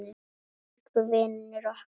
Elsku vinur okkar.